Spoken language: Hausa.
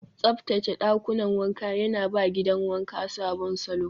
Tsaftace ɗakunan wanka yana ba gidan wanka sabon salo.